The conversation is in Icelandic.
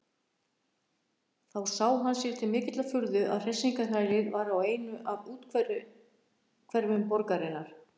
Þá sá hann sér til mikillar furðu að hressingarhælið var í einu af úthverfum borgarinnar.